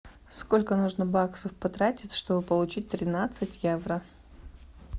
сколько нужно баксов потратить чтобы получить тринадцать евро